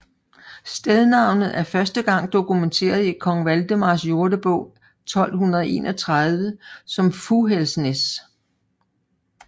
Stednavnet er første gang dokumenteret i Kong Valdemars Jordebog 1231 som Fughælsnæs